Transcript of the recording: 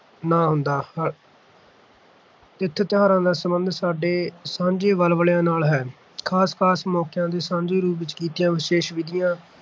ਨਾ ਹੁੰਦਾ ਤਿਥ-ਤਿਉਹਾਰਾਂ ਦਾ ਸੰਬੰਧ ਸਾਡੇ ਸਾਂਝੇ ਵਲਵਲਿਆਂ ਨਾਲ ਹੈ। ਖ਼ਾਸ-ਖ਼ਾਸ ਮੌਕਿਆਂ ਤੇ ਸਾਂਝੇ ਰੂਪ ਵਿੱਚ ਕੀਤੀਆਂ ਵਿਸ਼ੇਸ਼ ਵਿਧੀਆਂ